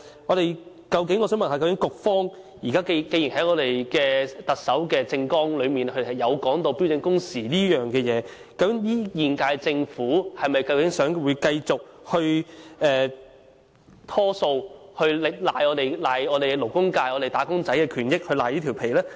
我想請問局方，既然特首政綱內有提及標準工時一事，究竟現屆政府是否打算繼續拖延，讓勞工界不能享有他們的應有權益？